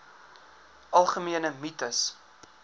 algemene mites